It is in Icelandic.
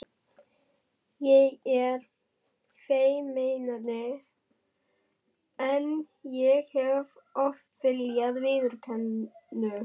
Ég er feimnari en ég hef oft viljað viðurkenna.